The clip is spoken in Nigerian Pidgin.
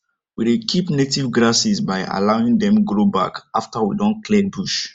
we dey keep native grasses by allowing dem grow back afta we don clear bush